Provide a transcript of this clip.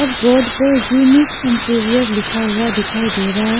और बोर्ड पर unique interior लिखा हुआ दिखाई दे रहा है।